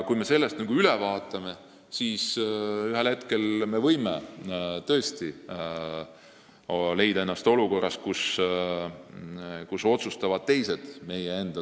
Kui me sellest mööda vaatame, siis võime ennast tõesti ühel hetkel leida olukorrast, kus teised otsustavad meie saatuse üle.